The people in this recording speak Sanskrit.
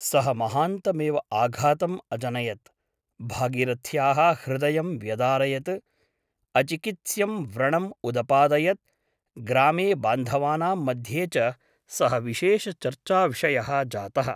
सः महान्तमेव आघातम् अजनयत् । भागीरथ्याः हृदयं व्यदारयत् । अचिकित्स्यं व्रणम् उदपादयत् । ग्रामे बान्धवानां मध्ये च सः विशेषचर्चाविषयः जातः ।